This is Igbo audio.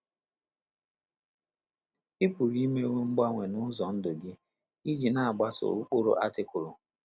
Ị pụrụ imewo mgbanwe n’ụzọ ndụ gị iji na - agbaso ụkpụrụ Artikụlụ.